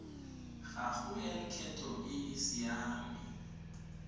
gago ya lekgetho e siame